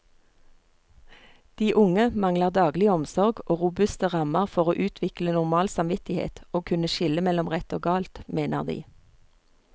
De unge mangler daglig omsorg og robuste rammer for å utvikle normal samvittighet og kunne skille mellom rett og galt, mener de.